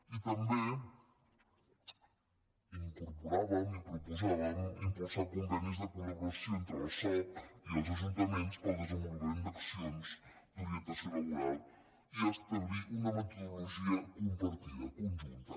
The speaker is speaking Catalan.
i també hi incorporàvem i proposàvem impulsar con·venis de col·laboració entre el soc i els ajuntaments per al desenvolupament d’accions d’orientació laboral i establir una metodologia compartida conjunta